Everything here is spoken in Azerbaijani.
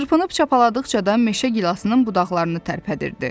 Çırpınıb çapaladıqca da meşə gilasının budaqlarını tərpədirdi.